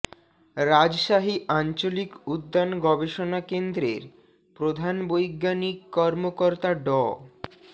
রাজশাহী আঞ্চলিক উদ্যান গবেষণা কেন্দ্রের প্রধান বৈজ্ঞানিক কর্মকর্তা ড